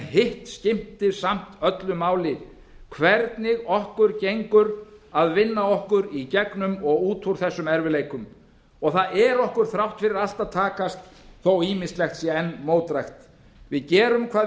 hitt skiptir samt öllu máli hvernig okkur gengur að vinna okkur í gegnum og út úr þessum erfiðleikum það er okkur þrátt fyrir allt að takast þó að ýmislegt sé enn mótdrægt við gerum hvað við